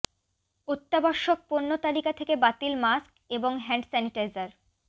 অত্যাবশ্যক পণ্য তালিকা থেকে বাতিল মাস্ক এবং হ্যান্ড স্যানিটাইজার